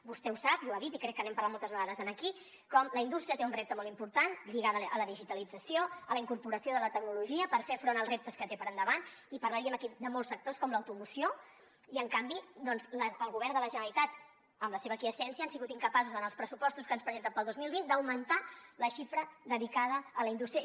vostè ho sap i ho ha dit i crec que n’hem parlat moltes vegades aquí com la indústria té un repte molt important lligat a la digitalització a la incorporació de la tecnologia per fer front als reptes que té per endavant i parlaríem aquí de molts sectors com l’automoció i en canvi el govern de la generalitat amb la seva aquiescència han sigut incapaços en els pressupostos que ens presenten per al dos mil vint d’augmentar la xifra dedicada a la indústria